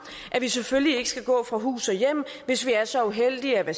at vi selvfølgelig ikke skal gå fra hus og hjem hvis vi er så uheldige at